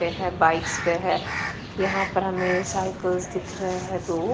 पे है बाइक्स पे है यहां पर हमें साइकल्स दिख रहे हैं दो।